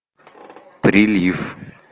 прилив